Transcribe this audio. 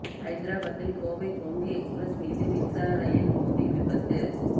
ஹைதராபாத்தில் கோவை கொங்கு எக்ஸ்பிரஸ் மீது மின்சார ரயில் மோதி விபத்து